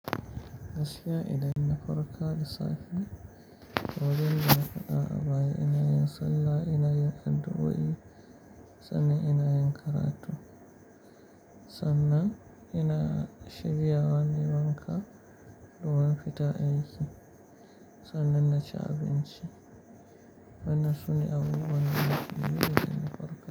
Gaskiya idan na farka da safe ne wajen dana fada a baya ina yin sallah ina yin addu'a, i sannan ina yin karatu. Sannan ina shiryawa nai wanka, zuwa fita aiki. Sannan na ci abinci, wannan sune abubuwan da nake yi idan na farka.